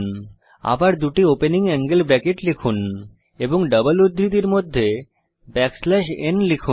আবার দুটি opening angle bracket লিখুন এবং ডাবল উদ্ধৃতির মধ্যে ব্যাকস্ল্যাশ n লিখুন